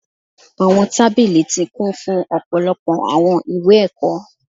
Awọn tabili ti kun fun ọpọlọpọ awọn iwe-ẹkọ